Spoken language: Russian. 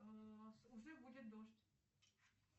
уже будет дождь